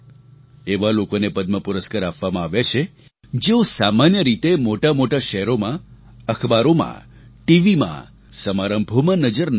એવા લોકોને પદ્મ પુરસ્કાર આપવામાં આવ્યા છે જેઓ સામાન્ય રીતે મોટામોટા શહેરોમાં અખબારોમાં ટીવીમાં સમારંભોમાં નજર નથી આવતા